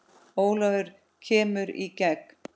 Ólafur kemur í gegn.